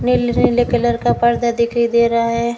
नीले नीले कलर का पर्दा दिखाई दे रहा है।